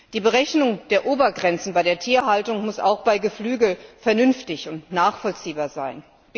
Die Berechnung der Obergrenzen bei der Tierhaltung muss auch bei Geflügel vernünftig und nachvollziehbar sein.